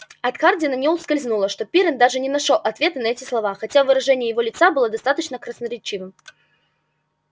от хардина не ускользнуло что пиренн даже не нашёл ответа на эти слова хотя выражение его лица было достаточно красноречивым